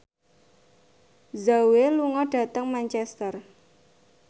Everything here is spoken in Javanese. Zhao Wei lunga dhateng Manchester